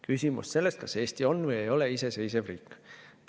Küsimus sellest, kas Eesti on või ei ole iseseisev riik.